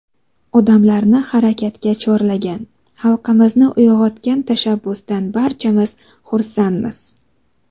Odamlarni harakatga chorlagan, xalqimizni uyg‘otgan tashabbusdan barchamiz xursandmiz.